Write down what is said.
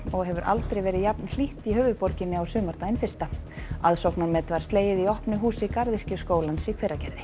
og hefur aldrei verið jafn hlýtt í höfuðborginni á sumardaginn fyrsta aðsóknarmet var slegið í opnu húsi Garðyrkjuskólans í Hveragerði